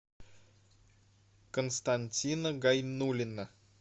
константина гайнуллина